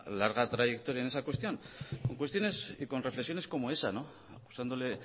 larga trayectoria en esa cuestión en cuestiones y con reflexiones como esa acusándole